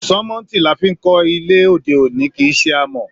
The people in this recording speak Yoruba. Sánmọ́ntì la fí n kọ ilé òde òní, kìí ṣe amọ̀.